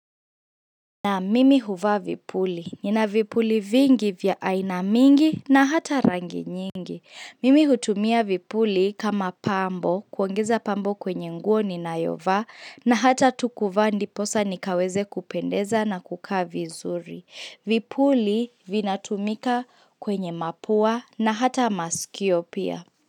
Na mimi huvaa vipuli. Nina vipuli vingi vya aina mingi na hata rangi nyingi. Mimi hutumia vipuli kama pambo, kuongeza pambo kwenye nguo ni nayovaa na hata tu kuvaa ndiposa nikaweze kupendeza na kukaa vizuri. Vipuli vina tumika kwenye mapua na hata masikio pia.